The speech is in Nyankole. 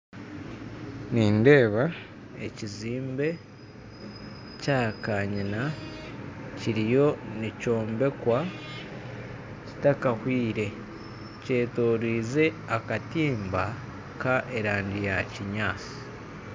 Nindeeba ekizimbe kya karina kirina kiriyo nikyombekwa kitakahwire. Kyetorize akatimba k'erangi ya kinyaatsi